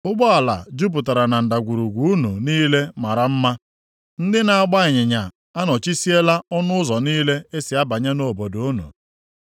Ụgbọala jupụtara na ndagwurugwu unu niile mara mma; ndị na-agba ịnyịnya anọchisiela ọnụ ụzọ niile e si abanye nʼobodo unu.